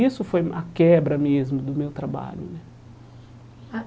Isso foi a quebra mesmo do meu trabalho né.